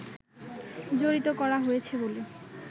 জড়িত করা হয়েছে বলে